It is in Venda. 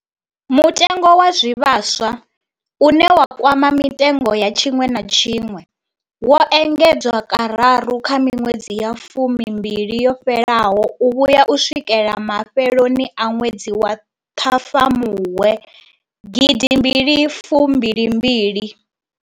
Mutengo wa zwivhaswa, une wa kwama mitengo ya tshiṅwe na tshiṅwe, wo engedzwa kararu kha miṅwedzi ya fumimbili yo fhelaho u vhuya u swikela mafheloni a ṅwedzi wa Ṱhafamuhwe gidimbili fumbili mbili.